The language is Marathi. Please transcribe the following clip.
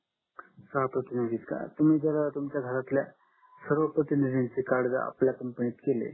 सहा प्रतिनिधि आहेत का तुम्ही जर तुमच्या घरातल्या सर्व प्रतिनिधि चे कार्ड जर आपल्या कंपनी केले